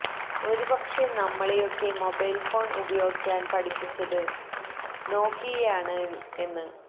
ഒരു പക്ഷേ നമ്മളെയൊക്കെ മൊബൈല് ഫോണ് ഉപയോഗിക്കാന് പഠിപ്പിച്ചത് നോക്കിയയാണ് എന്